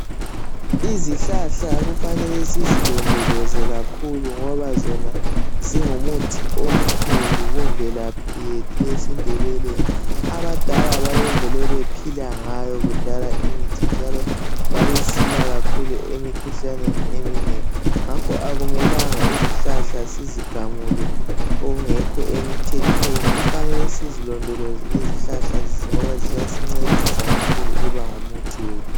Izihlahla kufanele sizilondoloze kakhulu ngoba zona zingumuthi omkhulu kumvelaphi yethu yesiNdebeleni abadala babevele bephila ngayo kudala imithi njalo babesilwa kakhulu emikhuhlaneni eminengi ngakho akumelanga izihlahla sizigamule okungekho emthethweni kufanele sizilondoloze ngoba ziyasincedisa kakhulu ukuba ngumuthi wethu